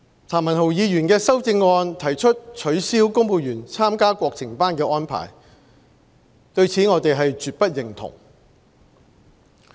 譚文豪議員的修正案提出取消公務員參加國情班的安排，對此我們絕不認同。